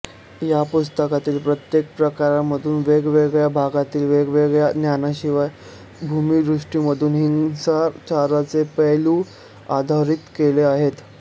या पुस्तकातील प्रत्येक प्रकरणामधून वेगवेगळ्या भागांतील वेगवेगळ्या ज्ञानशाखीय भूमिदृष्टीमधून हिंसाचाराचे पैलू अधोरेखित केले आहेत